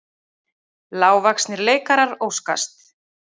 Lágvaxnir leikarar óskast